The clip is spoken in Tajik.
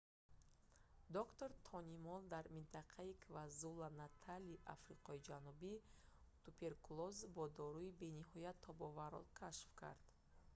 доктор тони молл дар минтақаи квазулу-натали африқои ҷанубӣ туберкулёзи бо дору бениҳоят тобоварро xdr-tb кашф кард